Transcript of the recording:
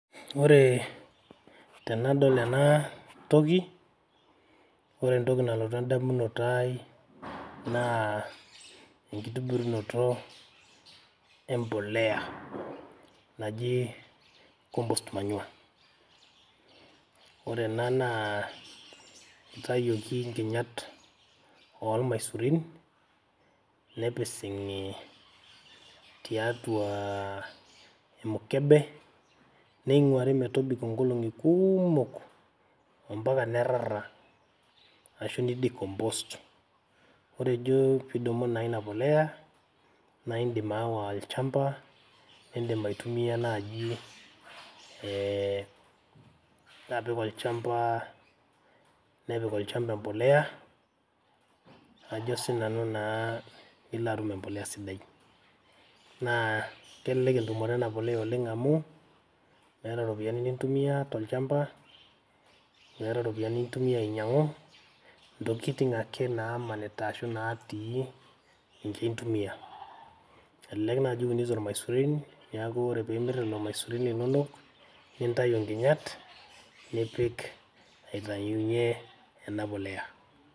Ore tenadol enatoki, ore entoki nalotu edamunoto ai, naa enkitibirunoto empolea, naji compost manure. Ore ena naa itayioki nkinyat ormaisurin, nepising'i tiatua emukebe, neing'uari metobiko nkolong'i kuumok, ampaka nerrarra, ashu ni decompose. Ore ijo pidumu naa inapolea, na idim aawa olchamba, nidim aitumia naji eh nilo apik olchamba, nepik olchamba empolea, ajo sinanu naa nilatum empolea sidai. Naa kelelek etumoto ena polea oleng amu, meeta iropiyiani nintumia tolchamba, meeta ropiyiani nintumia ainyang'u, intokiting ake namanita ashu natii ninche intumia. Elelek naji iunito irmaisurin, neeku ore pimir lelo maisurin linonok, nintayu nkinyat, nipik aitayunye ena polea.